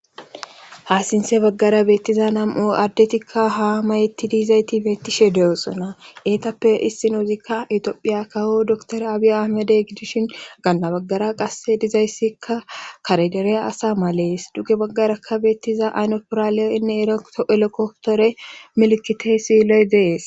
Haasinse baggara beettiza nam'o addetikka ha mayetti diizayti beettishe de'osona eetappe issinoozikka itoophiya kaho doktora abiya ahamedey gidishin ganna baggara qasse dizayssikka karedereya asa malees dugge baggarakka beettiza aynopoiraaliyoinne elokoktore milikiteesilee dees.